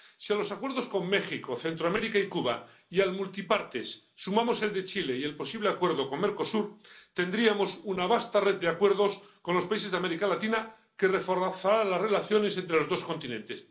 Si a los acuerdos con México, Centroamérica y Cuba y al Acuerdo Multipartes sumamos el de Chile y el posible acuerdo con Mercosur, tendríamos una vasta red de acuerdos con los países de América Latina que reforzarán las relaciones entre los dos continentes.